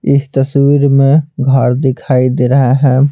इस तस्वीर में घर दिखाई दे रहा है।